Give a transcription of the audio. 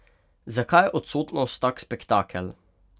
Zakaj je odsotnost tak spektakel?